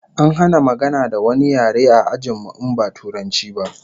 An hana magana da wani yare a ajin mu in ba Turanci ba